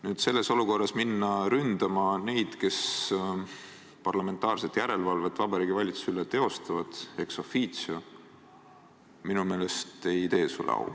No selles olukorras minna ründama neid, kes ex officio teostavad parlamentaarset järelevalvet Vabariigi Valitsuse üle – minu meelest ei tee see sulle au.